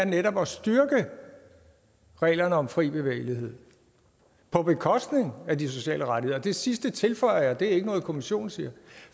netop er at styrke reglerne om fri bevægelighed på bekostning af de sociale rettigheder det sidste tilføjer jeg det er ikke noget kommissionen siger